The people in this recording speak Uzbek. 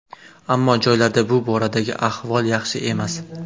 Ammo joylarda bu boradagi ahvol yaxshi emas.